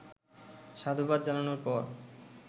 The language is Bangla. সাধুবাদ জানানোর পর